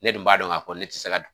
Ne dun b'a dɔn k'a fɔ ne tɛ se ka